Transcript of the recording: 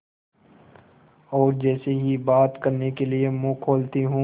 और जैसे ही बात करने के लिए मुँह खोलती हूँ